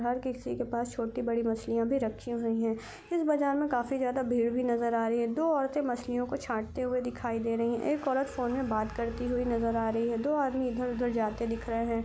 हर किसी के पास छोटी बड़ी मछलियां भी रखी हुई है इस बाजार में काफ़ी ज्यादा भीड़ भी नजर आ रही है दो औरते मछली को छांटते हुए दिखाई दे रही एक औरत फोन पे बात करती हुई नजर आ रहे हैं दो आदमी इधर उधर जाते दिख रहे हैं।